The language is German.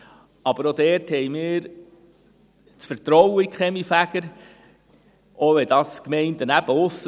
Aber auch dort haben wir das Vertrauen in die Kaminfeger, selbst in abseits liegenden Gemeinden.